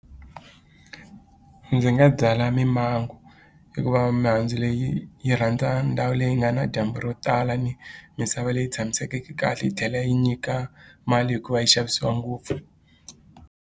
Ndzi nga byala mimango hikuva mihandzu leyi yi rhandza ndhawu leyi nga na dyambu ro tala ni misava leyi tshamisekeke kahle yi tlhela yi nyika mali hikuva yi xavisiwa ngopfu.